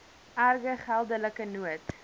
erge geldelike nood